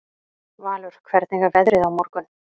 Valur, hvernig er veðrið á morgun?